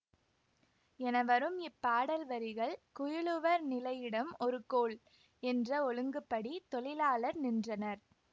என வரும் இப்பாடல் வரிகள் குயிலுவர் நிலையிடம் ஒரு கோல் என்ற ஒழுங்குப்படி தொழிலாளர் நின்றனர்